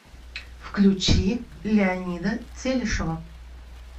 включи леонида телешева